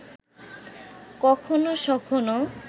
কখনো সখনো